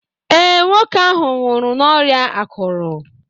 Ee, nwoke ahụ nwụrụ n'ọrịa akụrụ